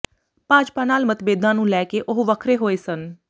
ਭਾਜਪਾ ਨਾਲ ਮਤਬੇਦਾਂ ਨੂੰ ਲੈ ਕੇ ਉਹ ਵੱਖਰੇ ਹੋਏ ਸਨ